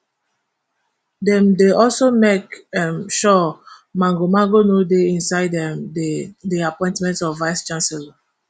dem dey also make um sure magomago no dey inside um di di appointment of vicechancellor